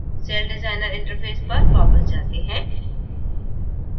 celldesigner interface पर वापस आते हैं